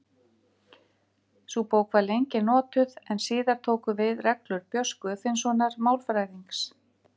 Sú bók var lengi notuð en síðar tóku við reglur Björns Guðfinnssonar málfræðings.